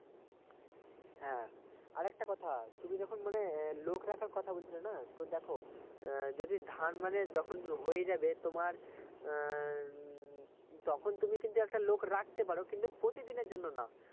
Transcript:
হ্যাঁ আরেকটা কথা তুমি যখন মানে লোক রাখার কথা বলছিলেনা তো দেখো যদি ধান মানে যখন হয়ে যাবে তোমার উম তখন তুমি কিন্তু একটা লোক রাখতে পারো কিন্তু প্রতিদিনের জন্য না